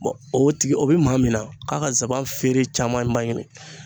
o tigi o bɛ maa min na k'a ka saban feere camanba ɲini